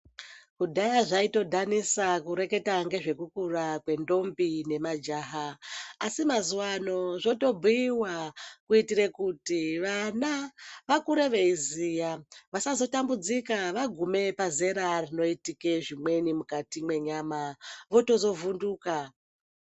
Kudhaya zvaitodhanisa kureketa ngezvekukura kwendombi nemajaha asi mazuwa ano zvotobhuiwa kuitire kuti vana vakure veiziya vasazotambudzika vagume pazera rinoitike zvimweni mukati mwenyama votozovhunduka.